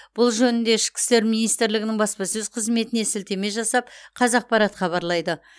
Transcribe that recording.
бұл жөнінде ішкі істер министрлігінің баспасөз қызметіне сілтеме жасап қазақпарат хабарлайды